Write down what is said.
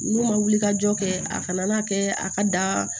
N'u ma wuli ka jɔ kɛ a kana kɛ a ka da